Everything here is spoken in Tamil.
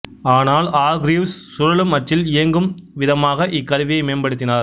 ஆனால் ஆர்கிரீவ்சு சுழலும் அச்சில் இயங்கும் விதமாக இக்கருவியை மேம்படுத்தினார்